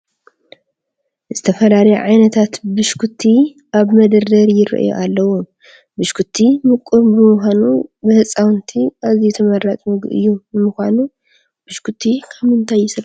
ዝተፈላለዩ ዓይነታት ብሽኩቲ ኣብ መደርደሪ ይርአዩ ኣለዉ፡፡ ብሽኩቲ ምቁር ብምዃኑ ብህፃውንቲ ኣዝዩ ተመራፂ ምግቢ እዩ፡፡ ንምዃኑ ብሽኩቲ ካብ ምንታይ ይስራሕ?